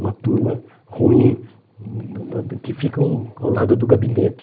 Uma turma ruim, hum que ficam ao lado do gabinete.